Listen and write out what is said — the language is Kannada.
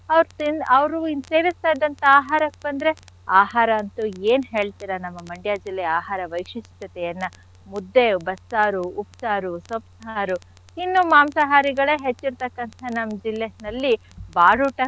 ಅವ್ರ್ ತಿನ್~ ಅವ್ರು ಇನ್ ಸೇವಿಸ್ತಾ ಇದ್ದಂಥ ಆಹಾರಕ್ ಬಂದ್ರೆ ಆಹಾರ ಅಂತೂ ಏನ್ ಹೇಳ್ತೀರ ನಮ್ Mandya ಜಿಲ್ಲೆಯ ಆಹಾರ ವೈಶಿಷ್ಟ್ಯತೆಯನ್ನ ಮುದ್ದೆ ಬಸ್ಸಾರು ಉಪ್ಸಾರು ಸೊಪ್ಪ್ಸಾರು. ಇನ್ನೂ ಮಾಂಸಾಹಾರಿಗಳೆ ಹೆಚ್ಚಿರ್ತಕ್ಕಂಥ ನಮ್ ಜಿಲ್ಲೆನಲ್ಲಿ ಬಾಡೂಟ.